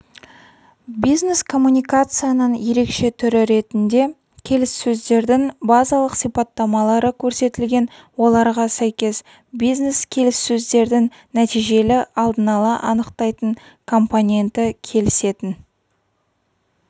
бизнес-коммуникацияның ерекше түрі ретінде келіссөздердің базалық сипаттамалары көрсетілген оларға сәйкес бизнес-келіссөздердің нәтижелі алдын ала анықтайтын компоненті келісетін